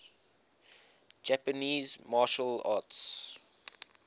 japanese martial arts